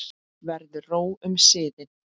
Verður ró um siðinn?